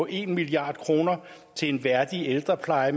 en milliard kroner til en værdig ældrepleje